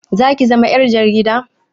Zaki zama ƴar jarida?